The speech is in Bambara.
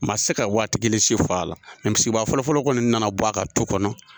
Maa tɛ se ka waati kelen si fɔ a la mɛ misibaa fɔlɔfɔlɔ kɔni nana bɔ a ka tu kɔnɔ